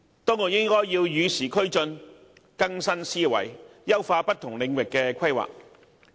當局應與時俱進，更新思維，優化不同領域的規劃。